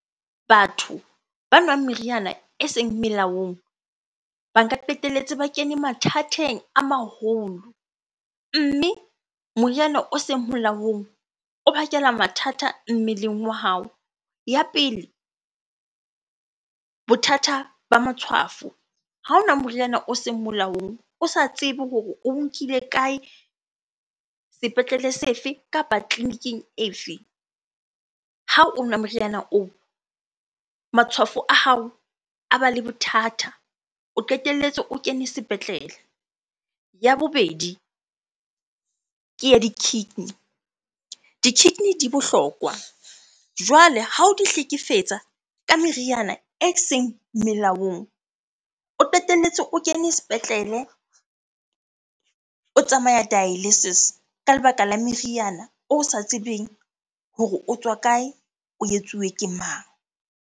Batho ba nwang meriana eseng melaong, ba nka qetelletse ba kene mathateng a maholo. Mme moriana o seng molaong o bakela mathata mmeleng wa hao. Ya pele, bothata ba matshwafo. Ha o nwa moriana o seng molaong, o sa tsebe hore oo nkile kae? Sepetlele se fe? Kapa tleliniking e fe? Ha o nwa moriana oo, matshwafo a hao a ba le bothata, o qetelletse o kene sepetlele. Ya bobedi ke ya di-kidney, di-kidney di bohlokwa. Jwale ha o di hlekefetsa ka meriana eseng melaong, o qetelletse o kene sepetlele, o tsamaya dialysis ka lebaka la meriana o sa tsebeng hore o tswa kae? O etsuwe ke mang?